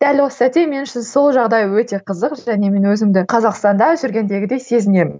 дәл осы сәтте мен үшін сол жағдай өте қызық және мен өзімді қазақстанда жүргендегідей сезінемін